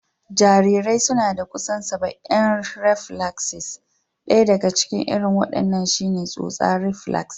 Jarirai suna da kusan saba'in reflaksis, ɗaya daga cikin irin wadannan shi ne tsotsa reflax.